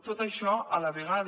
tot això a la vegada